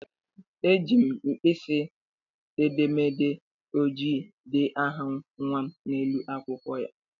Ejiri m mpkisi edemede ojii dee aha nnwa m n'elu akwụkwọ ya.